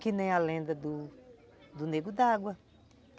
Que nem a lenda do nego d'água.